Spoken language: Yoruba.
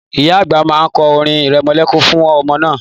Ìyá àgbà ma kọ orin irẹmọlẹ́kún re fún ọmọ náà.